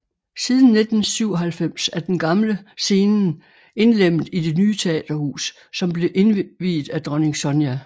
Siden 1997 er den gamle scenen indlemmet i det nye teaterhus som blev indviet af Dronning Sonja